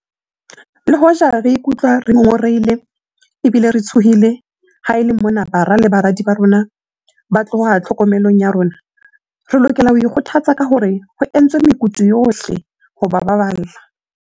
Le hoja re ka ikutlwa re ngo ngorehile ebile re tshohile ha e le mona bara le baradi ba rona ba tloha tlhokomelong ya rona, re lokela ho ikgothatsa ka hore ho entswe mekutu yohle ho ba baballa.